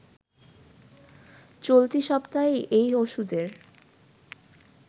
চলতি সপ্তাহেই এই ওষুধের